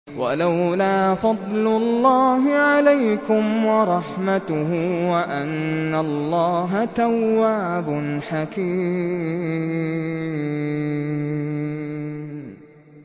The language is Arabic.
وَلَوْلَا فَضْلُ اللَّهِ عَلَيْكُمْ وَرَحْمَتُهُ وَأَنَّ اللَّهَ تَوَّابٌ حَكِيمٌ